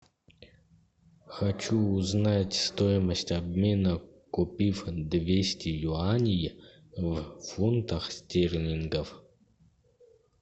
хочу узнать стоимость обмена купив двести юаней в фунтах стерлингов